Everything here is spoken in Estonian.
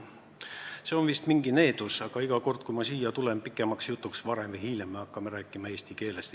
See on vist mingi needus, aga iga kord, kui ma pikemaks jutuks siia pulti tulen, siis varem või hiljem me hakkame rääkima eesti keelest.